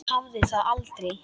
Hafði það aldrei.